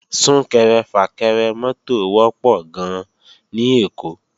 Sún-kẹrẹ-fà-kẹrẹ mọ́tò wọ́pọ̀ gan-an ní Èkó